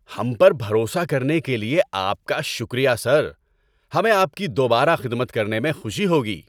ہم پر بھروسہ کرنے کے لیے آپ کا شکریہ، سر۔ ہمیں آپ کی دوبارہ خدمت کرنے میں خوشی ہوگی۔